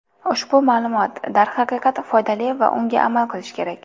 Ushbu ma’lumot, darhaqiqat, foydali va unga amal qilish kerak.